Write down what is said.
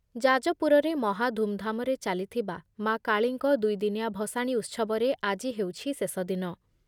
ଯାଜପୁରରେ ମହା ଧୁମ୍‌ଧାମରେ ଚାଲିଥିବା ମା କାଳୀଙ୍କ ଦୁଇ ଦିନିଆ ଭସାଣୀ ଉତ୍ସବରେ ଆଜି ହେଉଛି ଶେଷ ଦିନ ।